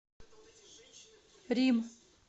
рим